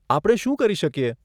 આપણે શું કરી શકીએ?